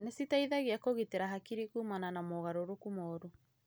Nĩ citeithagia kũgitĩra hakiri kumana na mogarũrũku moru